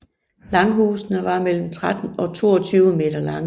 Langhusene var mellem 13 og 22 m lange